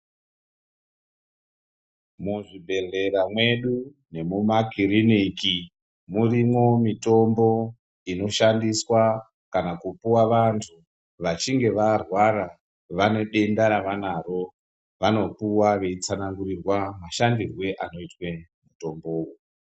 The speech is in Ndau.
Muzvibhedhlera medu nekumakiriniki murimo mitombo inoshandiswa pakupuwa vantu vachinge varwara vanotora avanawo vanopuwa veitsanangurirwa mashandisiro emitombo.